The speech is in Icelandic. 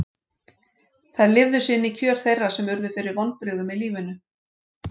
Þær lifðu sig inn í kjör þeirra sem urðu fyrir vonbrigðum í lífinu.